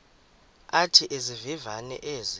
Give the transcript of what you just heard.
athi izivivane ezi